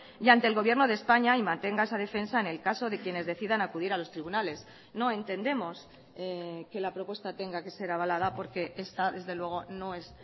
y ante el gobierno de españa y mantenga esa defensa en el caso de quienes decidan acudir a los tribunales no entendemos que la propuesta tenga que ser avalada porque esta desde luego no es